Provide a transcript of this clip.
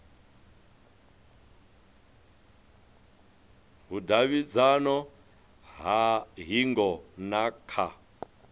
vhudavhidzano ha hingo na kha